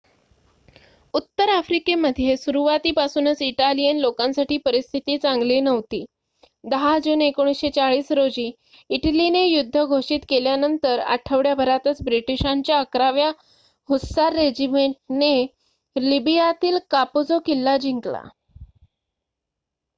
उत्तर आफ्रिकेमध्ये सुरुवातीपासूनच इटालियन लोकांसाठी परिस्थिती चांगली नव्हती. १० जून १९४० रोजी इटलीने युद्ध घोषित केल्यानंतर आठवड्याभरातच ब्रिटिशांच्या ११ व्या हुस्सार रेजिमेंटने लिबियातील कापुझो किल्ला जिंकला